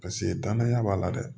Paseke danaya b'a la dɛ